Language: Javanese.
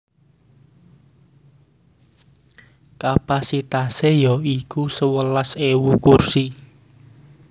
Kapasitasé ya iku sewelas ewu kursi